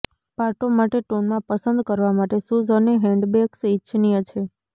પાટો માટે ટોનમાં પસંદ કરવા માટે શુઝ અને હેન્ડબેગ્સ ઇચ્છનીય છે